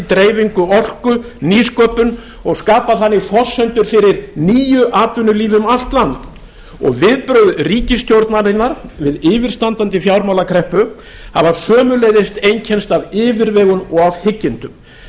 dreifingu orku nýsköpun og skapa þannig forsendur fyrir nýju atvinnulífi um allt land viðbrögð ríkisstjórnarinnar við yfirstandandi fjármálakreppu hafa sömuleiðis einkennst af yfirvegun og af hyggindum